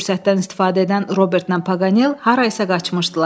Görünür bu fürsətdən istifadə edən Robertlə Paqanel harayasa qaçmışdılar.